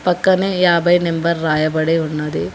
పక్కనే యాభై నెంబర్ రాయబడి ఉన్నది.